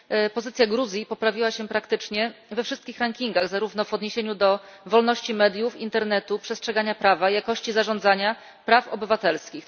Pozycja Gruzji poprawiła się praktycznie we wszystkich rankingach zarówno w odniesieniu do wolności mediów, internetu, przestrzegania prawa, jakości zarządzania praw obywatelskich.